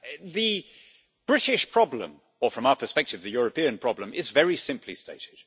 The British problem, or from our perspective the European problem, is very simply stated.